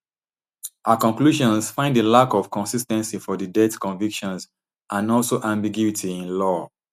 her conclusions find a lack of consis ten cy for di death convictions and also ambiguity in law